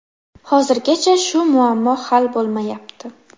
Hozirgacha shu muammo hal bo‘lmayapti.